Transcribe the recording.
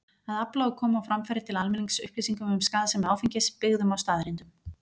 Að afla og koma á framfæri til almennings upplýsingum um skaðsemi áfengis, byggðum á staðreyndum.